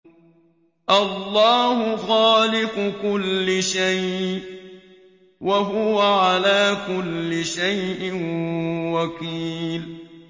اللَّهُ خَالِقُ كُلِّ شَيْءٍ ۖ وَهُوَ عَلَىٰ كُلِّ شَيْءٍ وَكِيلٌ